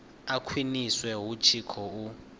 a khwiniswe hu tshi khou